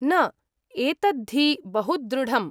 न, एतद्धि बहुदृढम्।